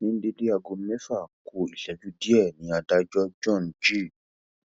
ní déédé aago mẹfà ku ìṣẹjú díẹ ni adájọ john g